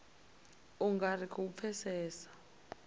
u nga ri khou pfesesa